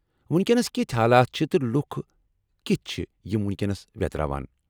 وُنکینس کِتھِ حالات چھِ تہٕ لُکھ کِتھ چھِ یم وُنكینس ویتراوان ؟